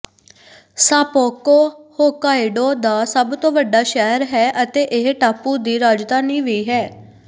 ਸਾਪੋਕੋ Hokkaido ਦਾ ਸਭ ਤੋਂ ਵੱਡਾ ਸ਼ਹਿਰ ਹੈ ਅਤੇ ਇਹ ਟਾਪੂ ਦੀ ਰਾਜਧਾਨੀ ਵੀ ਹੈ